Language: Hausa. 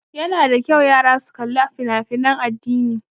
Ya na da kyau yara su kali fina fina addini